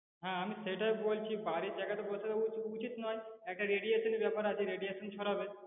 হ্যা আমি সেটাই বলছি বাড়ির জায়গাতে বসানো উ~ উচিত নয় একটা radiation এর ব্যাপার আছে radiation ছড়াবে।